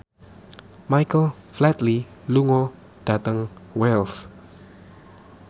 Michael Flatley lunga dhateng Wells